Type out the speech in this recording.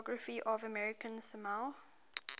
geography of american samoa